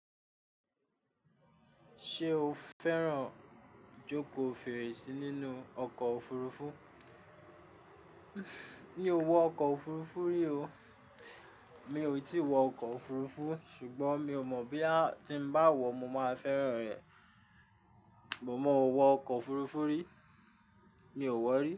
Ṣé o fẹ́ràn ijoko fèrèsí nínú ọkọ̀ òfurufú? Mi ò wọ ọkọ̀ òfurufú rí o. Mi ò tí ì wọ ọkọ̀ òfurufú, ṣùgbọ́n mi ò mọ̀ boya tí ń bá wọ, mo máa fẹ́ràn rẹ̀. Mo mọ wọ ọkọ̀ òfurufú rí. Mi ò wọ rí.